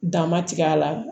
Dama tigɛ a la